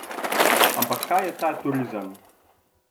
Ampak kaj je ta turizem?